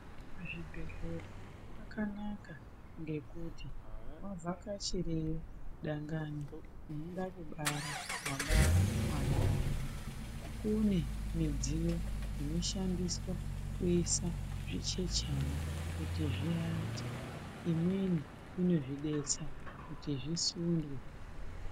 Muzvibhedhlera kwakanaka ngekuti wavhakachireyo dangani unoda kubara, wabara mwana wako. Kune midziyo inoshandiswa kuisa zvichechana kuti zviate, imweni inozvidetsa kuti zvisundwe.